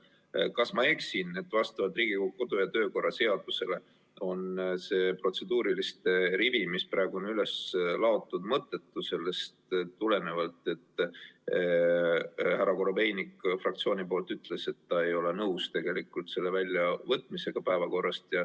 Kas ma eksin,, et vastavalt Riigikogu kodu- ja töökorra seadusele on see protseduuriliste küsimuste rivi, mis praegu on üles seatud, mõttetu, sest härra Korobeinik ütles fraktsiooni nimel, et nad ei ole nõus selle punkti päevakorrast väljavõtmisega?